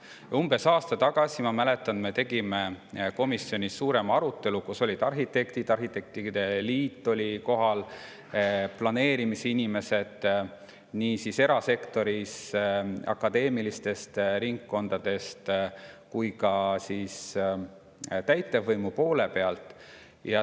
Ma mäletan, et umbes aasta tagasi me tegime komisjonis suurema arutelu, kus olid kohal arhitektid arhitektide liidust ning planeerimisinimesed nii erasektorist kui ka akadeemilistest ringkondadest ja täitevvõimu poole pealt.